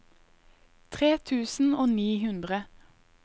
tre tusen og ni hundre